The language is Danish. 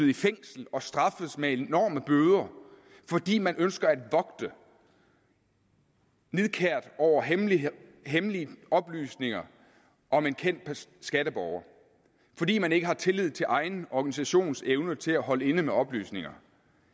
i fængsel og straffet med enorme bøder fordi man ønsker at vogte nidkært over hemmelige hemmelige oplysninger om en kendt skatteborger fordi man ikke har tillid til ens egen organisations evne til at holde igen med oplysninger